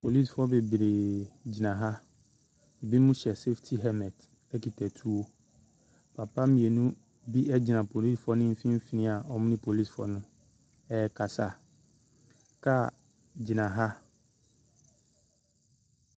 Polisifo bebree gyina ha, binom hyɛ safety helmet kita tuo. Papa mmienu bi gyina polisifoɔ ne mfimfin a wɔne polisifo no ɛrekasa. Kaa gyina ha.